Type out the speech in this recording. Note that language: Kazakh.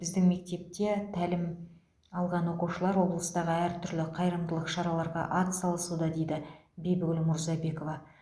біздің мектепте тәлім алған оқушылар облыстағы әр түрлі қайырымдылық шараларға атсалысуда дейді бибігүл мурзабекова